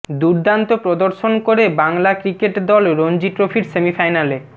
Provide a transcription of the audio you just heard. দুর্দান্ত প্রদর্শন করে বাংলা ক্রিকেট দল রনজি ট্রফির সেমিফাইনালে